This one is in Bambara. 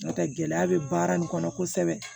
N'o tɛ gɛlɛya bɛ baara nin kɔnɔ kosɛbɛ